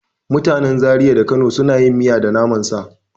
Mutanen Zariya da Kano suna yin miya da naman sa.